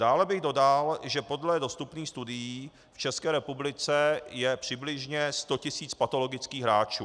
Dále bych dodal, že podle dostupných studií v České republice je přibližně 100 tis. patologických hráčů.